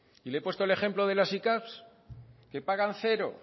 y le he puesto el ejemplo de las sicav que pagan cero